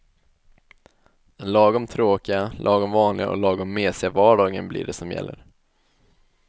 Den lagom tråkiga, lagom vanliga och lagom mesiga vardagen blir det som gäller.